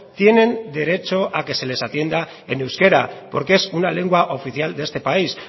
tienen derecho a que se les atienda en euskera porque es una lengua oficial de este país